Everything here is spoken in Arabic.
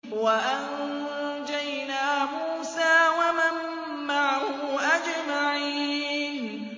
وَأَنجَيْنَا مُوسَىٰ وَمَن مَّعَهُ أَجْمَعِينَ